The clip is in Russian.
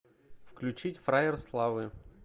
включить фраер славы